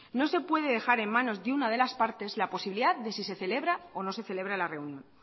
no se puede dejar en manos de una de las partes la posibilidad de si se celebra o no se celebra la reunión